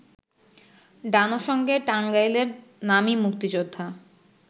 ডানোর সঙ্গে টাঙ্গাইলের নামী মুক্তিযোদ্ধা